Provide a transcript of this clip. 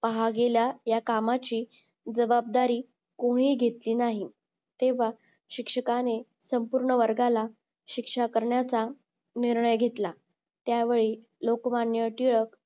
आहागेल्या या कामाची जबाबदारी कोणीही घेतली नाही तेव्हा शिक्षकांनी संपूर्ण वर्गाला शिक्षा करण्याचा निर्णय घेतला त्यावेळी लोकमान्य टिळक